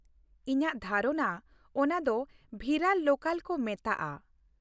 ᱤᱧᱟᱹᱜ ᱫᱷᱟᱨᱚᱱᱟ ᱚᱱᱟᱫᱚ ᱵᱷᱤᱨᱟᱨ ᱞᱳᱠᱟᱞ ᱠᱚ ᱢᱮᱛᱟᱜᱼᱟ ᱾